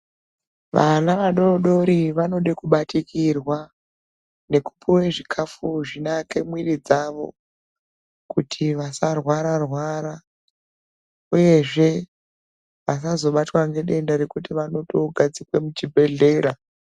Bana vadodori vanode kubatikirwa nekupuwe zvikafu zvinovake miri dzawo kuti vasarwara rwara uyezve vasazobatwe ngedenda rekuti vanotogarzikwe muchibhedhlera.